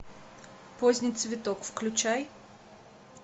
поздний цветок включай